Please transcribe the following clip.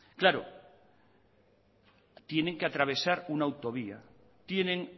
claro tienen que atravesar una autovía tienen